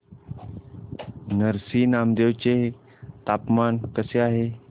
नरसी नामदेव चे तापमान कसे आहे